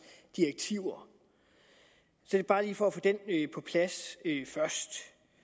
direktiver bare lige for at få det på plads først